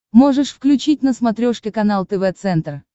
можешь включить на смотрешке канал тв центр